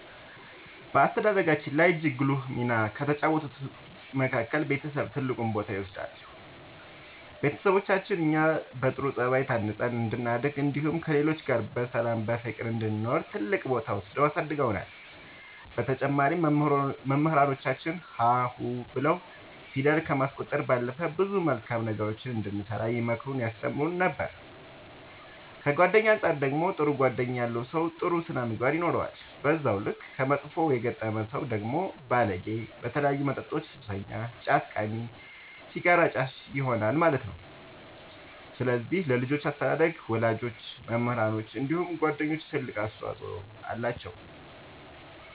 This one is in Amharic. በአስተዳደጋችን ላይ እጅግ ጉልህ ሚና ከተጫወቱት መካከል ቤተሰብ ትልቁን ቦታ ይወስዳሉ ቤተሰቦቻችን እኛ በጥሩ ጸባይ ታንጸን እንድናድግ እንዲሁም ከሌሎች ጋር በሰላም በፍቅር እንድንኖር ትልቅ ቦታ ወስደው አሳድገውናል በተጨማሪም መምህራኖቻችን ሀ ሁ ብለው ፊደል ከማስቆጠር ባለፈ ብዙ መልካም ነገሮችን እንድንሰራ ይመክሩን ያስተምሩን ነበር ከጓደኛ አንፃር ደግሞ ጥሩ ጓደኛ ያለው ሰው ጥሩ ስነ ምግባር ይኖረዋል በዛው ልክ ከመጥፎ የገጠመ ሰው ደግሞ ባለጌ በተለያዩ መጠጦች ሱሰኛ ጫት ቃሚ ሲጋራ አጫሽ ይሆናል ማለት ነው ስለዚህ ለልጆች አስተዳደግ ወላጆች መምህራኖች እንዲሁም ጓደኞች ትልቅ አስተዋፅኦ አላቸው።